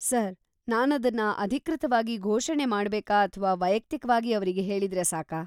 Sir, ನಾನದನ್ನ ಅಧಿಕೃತವಾಗಿ ಘೋಷಣೆ ಮಾಡ್ಬೇಕಾ ಅಥ್ವಾ ವೈಯಕ್ತಿಕವಾಗಿ ಅವ್ರಿಗೆ ಹೇಳಿದ್ರೆ ಸಾಕಾ?